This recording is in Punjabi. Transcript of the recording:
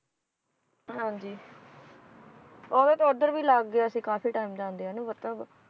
ਹਾਂਜੀ ਓਵੇਂ ਤਾਂ ਉਧਰ ਵੀ ਲੱਗ ਗਿਆ ਸੀ ਕਾਫੀ time ਜਾਂਦਿਆਂ ਨੂੰ ਮਤਲਬ